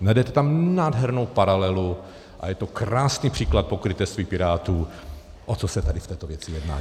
Najdete tam nádhernou paralelu a je to krásný příklad pokrytectví Pirátů, o co se tady v této věci jedná.